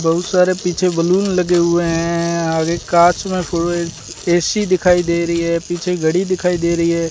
बहुत सारे पीछे बैलून लगे हुए हैं आगे कांच में फूल ए_सी दिखाई दे रही है पीछे घड़ी दिखाई दे रही है।